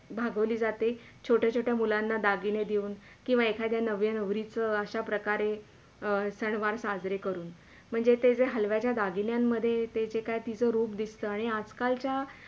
भागवली जाते छोट्या छोट्या मुलांना दागिने देऊन किवा एखादा नव्या नवरीला आशा प्रकारे सणवार साजरे करून. म्हणजे म जे हलव्याच्या दगिन्यांमध्ये ते जे काही तिचे रूप दिसते आणि आज - कालच्या